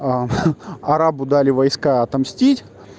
а арабу дали войска отомстить